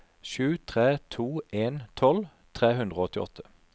sju tre to en tolv tre hundre og åttiåtte